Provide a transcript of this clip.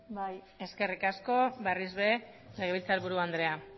bai eskerrik asko berriz ere legebiltzarburu andrea